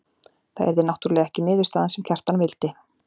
Það yrði náttúrlega ekki niðurstaðan sem Kjartan vildi.